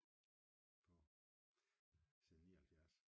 På siden 79